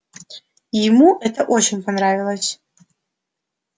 ему это очень понравилось